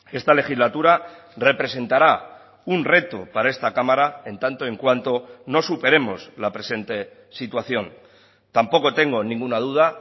esta legislatura representará un reto para esta cámara en tanto en cuanto no superemos la presente situación tampoco tengo ninguna duda